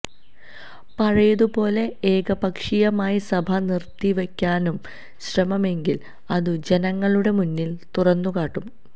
പഴയതുപോലെ ഏകപക്ഷീയമായി സഭ നിര്ത്തിവയ്ക്കാനാണു ശ്രമമെങ്കില് അതു ജനങ്ങളുടെ മുന്നില് തുറന്നുകാട്ടും